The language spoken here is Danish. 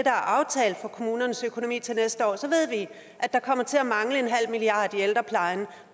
er aftalt for kommunernes økonomi til næste år ved vi at der kommer til at mangle en halv milliard kroner i ældreplejen